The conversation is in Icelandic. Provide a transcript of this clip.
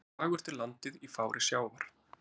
Fagurt er landið í fári sjávar.